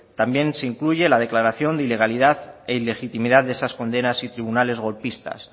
también se incluye la declaración de ilegalidad e ilegitimidad de esas condenas y tribunales golpistas